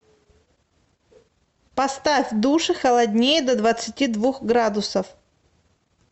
поставь в душе холоднее до двадцати двух градусов